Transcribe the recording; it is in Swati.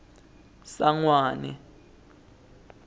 sangwane